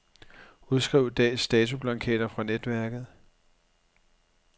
Udskriv dags datoblanketter fra netværket.